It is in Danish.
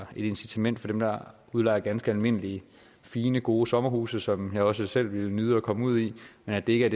incitament for dem der udlejer ganske almindelige fine gode sommerhuse som jeg også selv ville nyde at komme ud i men det er